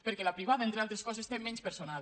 perquè la privada entre altres coses té menys personal